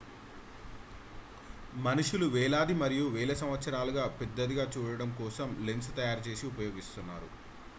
మనుషులు వేలాది మరియు వేల సంవత్సరాలుగా పెద్దదిగా చూడటం కోసం లెన్స్ తయారు చేసి ఉపయోగిస్తున్నారు